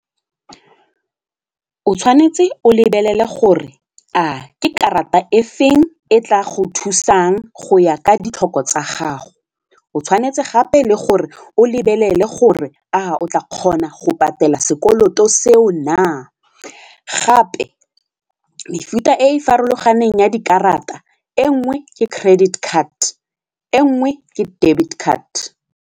O tshwanetse o lebelele gore a ke karata efeng e tla go thusang go ya ka ditlhoko tsa gago, o tshwanetse gape le gore o lebelele gore a o tla kgona go patela sekoloto seo na gape mefuta e e farologaneng ya dikarata e nngwe ke credit card, e nngwe ke debit card.